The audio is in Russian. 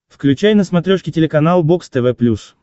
включай на смотрешке телеканал бокс тв плюс